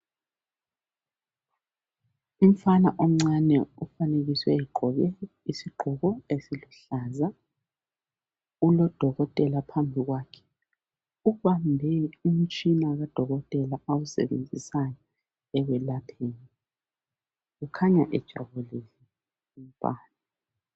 umfana omncane ofanekiswe egqoke isigqoko esiluhlaza ulodokotela phambi kwakhe. Ubambe umtshina kadokotela abawusebenzisa ekwelapheni kukhanya ejabulile umntwana.